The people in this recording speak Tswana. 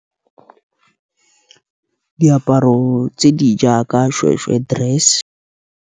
Diaparo tse di jaaka seshweshwe dress.